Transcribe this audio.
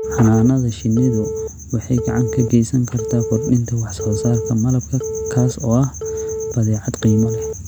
Xannaanada shinnidu waxay gacan ka geysan kartaa kordhinta wax soo saarka malabka, kaas oo ah badeecad qiimo leh.